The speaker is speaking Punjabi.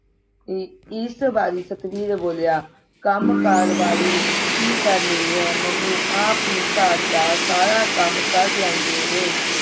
ਅਹ ਇਸ ਵਾਰੀ ਸਤਬੀਰ ਬੋਲਿਆ ਕੰਮ ਕਰ ਵਾਲੀ ਕੀ ਕਰਨੀ ਹੈ ਮੰਮੀ ਆਪ ਹੀ ਘਰ ਦਾ ਸਾਰਾ ਕੰਮ ਕਰ ਲੈਂਦੇ ਨੇ